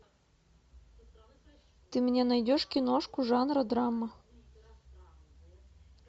ты мне найдешь киношку жанра драма